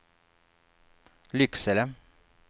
Lycksele